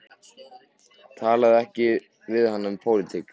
Talaðu ekki við hana um pólitík.